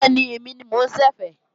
Bẹ́ẹ̀ni, èmi ni mo ń ṣẹ̀fẹ̀